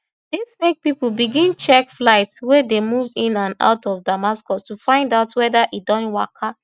dis make pipo begin check flights wey dey move in and out of damascus to find out weda e don waka